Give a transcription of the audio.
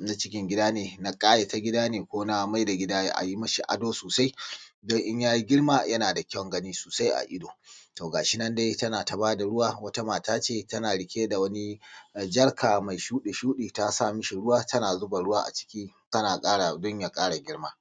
na cikin gida ne na ƙayata gida ne ko na maida gida a yi mi shi ado sosai don in ya yi girma yana da ƙyaun gani sosai a ido. To ga shi nan dai tana ta ba da ruwa wata mata ce tana rike da wani jarka mai shuɗi-shuɗi ta sa mai ruwa tana ƙara don ya ƙara girma.